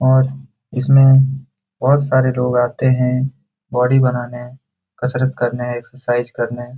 और इसमें बहुत सारे लोग आते है बॉडी बनाने कसरत करने एक्सरसाइज करने।